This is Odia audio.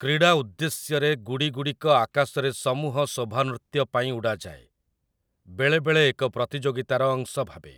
କ୍ରୀଡ଼ା ଉଦ୍ଦେଶ୍ୟରେ ଗୁଡ଼ିଗୁଡ଼ିକ ଆକାଶରେ ସମୂହ ଶୋଭାନୃତ୍ୟ ପାଇଁ ଉଡ଼ାଯାଏ, ବେଳେବେଳେ ଏକ ପ୍ରତିଯୋଗିତାର ଅଂଶ ଭାବେ ।